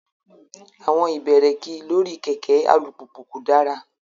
Àwọn ibẹ̀rẹ̀kì lórí kẹ̀kẹ́ alùpùpù kò dára.